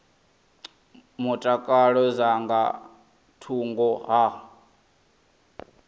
mutakalo dza nga thungo ha